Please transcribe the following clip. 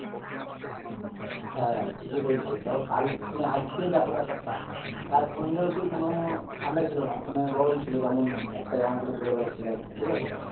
তুমি ঠিক কী বলছো দেখো কাল তুমি আজকে দেখো ব্যাপারটা কাল সন্ধেয় অব্দি কোনো ঠান্ডাই ছিলো না যেমন গরম ছিল মানে একটা জামা পরে ঘুরে বেড়াচ্ছিলাম,